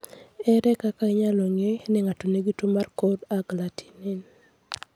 Ere kaka inyalo ng'e ni ng'ato nigi tuwo mar cold agglutinin?